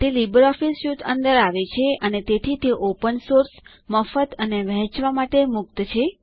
તે LibreOffice suite અંદર આવે છે અને તેથી તે ઓપન સોર્સ મફત અને વહેંચવા માટે મુક્ત છે